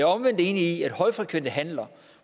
omvendt enig i at højfrekvente handler